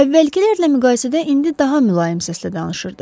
Əvvəlkilərlə müqayisədə indi daha mülayim səslə danışırdı.